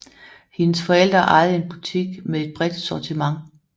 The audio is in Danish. Hendes forældre ejede en butik med et bredt sortiment